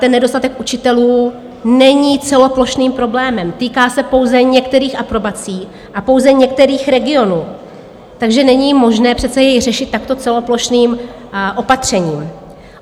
Ten nedostatek učitelů není celoplošným problémem, týká se pouze některých aprobací a pouze některých regionů, takže není možné přece jej řešit takto celoplošným opatřením.